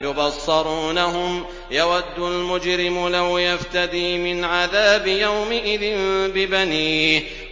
يُبَصَّرُونَهُمْ ۚ يَوَدُّ الْمُجْرِمُ لَوْ يَفْتَدِي مِنْ عَذَابِ يَوْمِئِذٍ بِبَنِيهِ